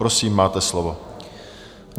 Prosím, máte slovo.